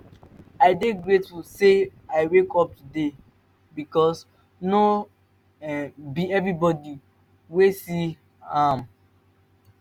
i dey grateful say i wake up today bikos no um bi evribodi wey see um am